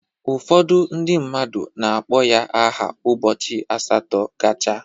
Ụfọdụ ndị mmadụ na-akpọ ya aha ụbọchị asatọ gacha.